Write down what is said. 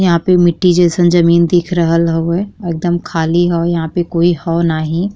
यहाँ पे मिट्टी जईसन जमीन दिख रहल हवे। एकदम खाली हव। यहाँ पे कोई हौ नाही।